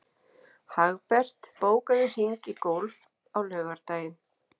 Hagbert, bókaðu hring í golf á laugardaginn.